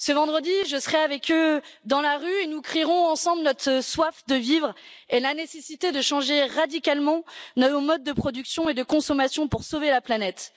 Ce vendredi, je serai avec eux dans la rue et nous crierons ensemble notre soif de vivre et la nécessité de changer radicalement nos modes de production et de consommation pour sauver la planète.